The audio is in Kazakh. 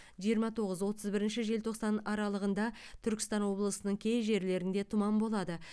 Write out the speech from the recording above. жиырма тоғыз отыз бірінші желтоқсан аралығында түркістан облысының кей жерлерінде тұман болады